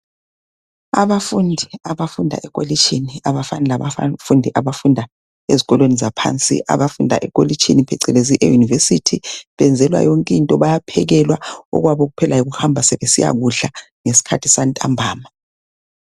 Abafundi abafunda elokitshini abafani labafundi abafunda ezikolweni zaphansi. Abafunda ekolitshini phecelezi eUniversity benzelwa yonkinto, bayaphekelwa, okwabo kuphela yikuhamba sebesiyakudla ngeskhathi santambama.